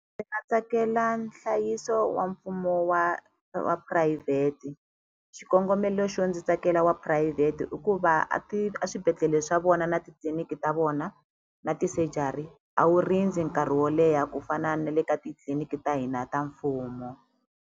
Ndzi nga tsakela nhlayiso wa mfumo wa wa phurayivhete xikongomelo xo ndzi tsakela wa phurayivhete i ku va a a swibedhlele swa vona na titliliniki ta vona na ti-surgery a wu rindzi nkarhi wo leha ku fana na le ka titliliniki ta hina ta mfumo.